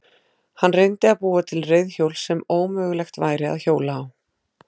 Hann reyndi að búa til reiðhjól sem ómögulegt væri að hjóla á.